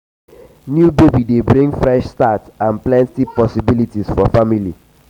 new baby dey bring fresh start and plenty possibilities for family.